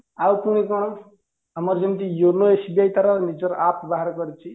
ଆଉ ପୁଣି କଣ ଆମର ଯେମିତି yono SBI ତାର ନିଜର app ବାହାର କରିଚି